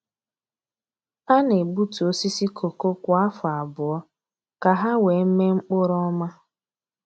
A na-egbutu osisi kooko kwa afọ abụọ ka ha wee mee mkpụrụ ọma.